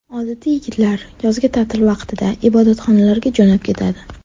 Odatda yigitlar yozgi ta’til vaqtida ibodatxonalarga jo‘nab ketadi.